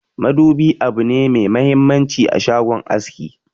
Madubi abune me muhimmanci a shagon aski.